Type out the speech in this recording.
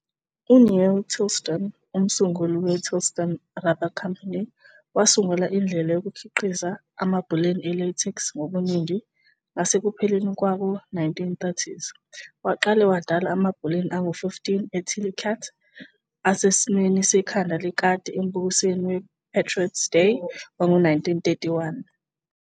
U-Neil Tillotson, umsunguli we-Tillotson Rubber Company, wasungula indlela yokukhiqiza amabhaluni e-latex ngobuningi ngasekupheleni kwawo-1930s. Waqale wadala amabhaluni angu-15 e-"Tilly Cat" asesimweni sekhanda lekati embukisweni we-Patriot's Day wango-1931.